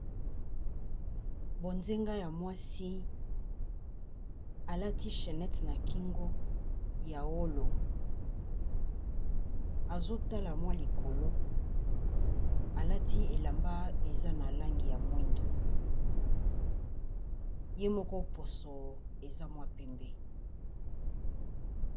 Bonzenga ya mwasi alati chainete na kingo ya wolo, azo tala mwa likolo alati elamba eza na langi ya mwindu ye moko poso eza mwa pembe.